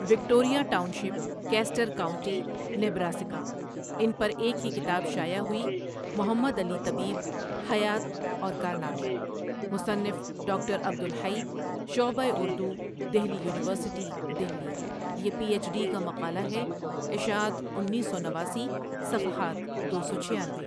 Victoria township, Custer county, Nebraska ان پر ایک ہی کتاب شاٸع ہوٸی محمد علی طبیب حیات اور کارنامے مصنف ڈاکٹر عبدالحی شعبہ اردو دہلی یونیورسٹی دہلی یہ پی ایچ ڈی کا مقالہ ہے اشاعت انیس سو نواسی صفحات دو سو چھیانوے۔